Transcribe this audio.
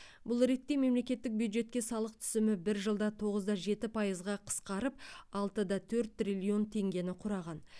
бұл ретте мемлекеттік бюджетке салық түсімі бір жылда тоғыз да жеті пайызға қысқарып алты да төрт триллион теңгені құраған